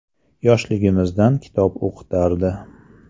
Yoshligimizdan kitob o‘qitardi.